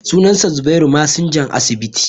sunansa zubairu masinjan asibiti